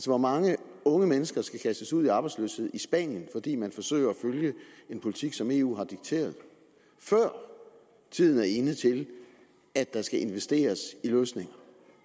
hvor mange unge mennesker skal kastes ud i arbejdsløshed i spanien fordi man forsøger at følge en politik som eu har dikteret før tiden er inde til at der skal investeres i løsninger